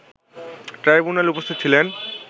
ট্রাইবুনালে উপস্থিত ছিলেন